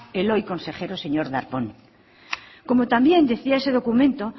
el hoy consejero señor darpón como también decía ese documento